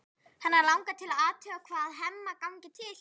Hana langar til að athuga hvað Hemma gangi til.